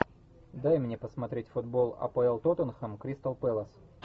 дай мне посмотреть футбол апл тоттенхэм кристал пэлас